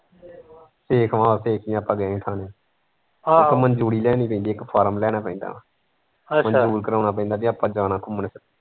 ਸੇਖਵਾਂ ਚੋਂਕੀ ਆਪਾਂ ਗਏ ਹੀ ਇੱਕ ਵਾਰੀ ਉੱਥੇ ਮਨਜੂਰੀ ਲੈਣੀ ਪੈਂਦੀ ਇੱਕ form ਲਿਆਉਣਾ ਪੈਂਦਾ ਮਨਜੂਰ ਕਰਾਉਣਾ ਪੈਂਦਾ ਵੀ ਆਪਾ ਜਾਣਾ ਘੁੰਮਣ ਫਿਰਨ।